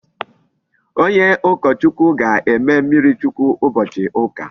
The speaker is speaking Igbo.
Onye ukochukwu ga-eme mmiri chukwu ubochi uka